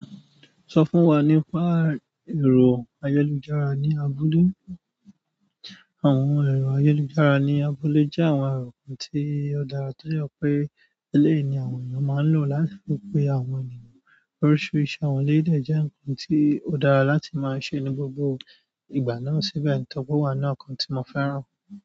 Sọ fún wa nípa ẹ̀rọ ayelùjára ní abúlé. Àwọn ẹ̀rọ ayọ̀lùjára ní abúlé jẹ́ àwọn ẹ̀rọ kan tí ó dára tó jẹ pé eleyi ni àwọn ènìyàn máa ń lò láti wipé àwọn ènìyàn. Oríṣiríṣi àwọn eleyii de jẹ́ ǹkan tí ó dára láti máa ṣe ní gbogbo ìgbà náà síbẹ̀ nítorí pe o wa nínú àwọn nkan tí mo fẹ́ràn.